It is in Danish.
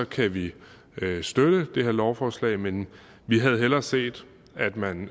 kan vi støtte det her lovforslag men vi havde hellere set at man